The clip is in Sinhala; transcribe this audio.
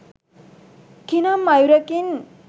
කිනම් අයුරකින්